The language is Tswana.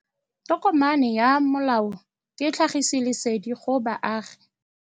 Tokomane ya molao ke tlhagisi lesedi go baagi.